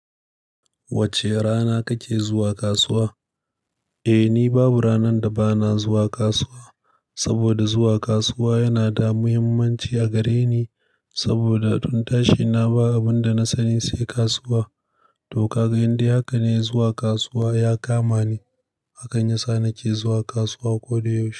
Wacce rana kake zuwa kasuwa? Eh, ni babu ranar da ba na zuwa kasuwa. Saboda zuwa kasuwa yana da muhimmanci a gare ni. Saboda tun tashi na ba abin da na sani sai kasuwa. Toh ka ga indai haka ne zuwa kasuwa ya kama ni. Hakan ya sa na ke zuwa kasuwa ko da yaushe.